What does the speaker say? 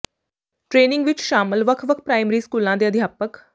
training ਵਿੱਚ ਸ਼ਾਮਲ ਵੱਖ ਵੱਖ ਪ੍ਰਾਇਮਰੀ ਸਕੂਲਾਂ ਦੇ ਅਧਿਆਪਕ